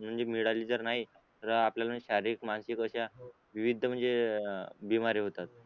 नम मिळाली जर नाही तर आपल्याला शारीरिक मानसिक अश्या विविध म्हणजे अश्या होतात